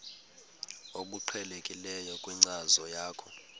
obuqhelekileyo kwinkcazo yakho